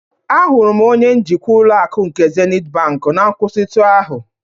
Ahụrụ m onye njikwa ụlọ akụ nke Zenịt bank na nkwụsịtụ ahụ.